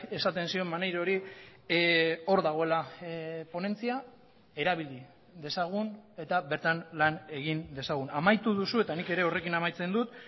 esaten zion maneirori hor dagoela ponentzia erabili dezagun eta bertan lan egin dezagun amaitu duzu eta nik ere horrekin amaitzen dut